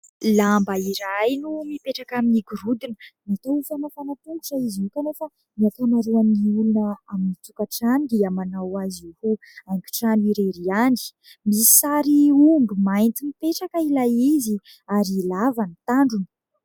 Lamba iray no mipetraka amin'ny gorodona. Natao ho famafana tongotra izy io ; kanefa ny ankamaroan'ny olona amin'ny tokantrano dia manao azy io ho haingon-trano irery ihany. Misy sary omby mainty mipetraka ilay izy ary lava ny tandrony.